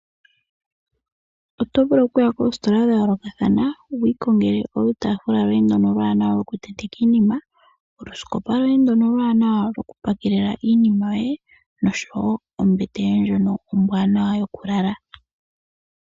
Oto vulu oku ya koositola dhayoolokathana opo wukiikongele iitaafula yoye mbyono iiwanawa yokuntenteka iinima osho woo oosikopa dhoku pakelwa iikutu nosho woo oombete ombwaanawa dhokulalwa.